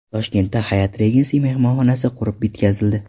Toshkentda Hyatt Regency mehmonxonasi qurib bitkazildi.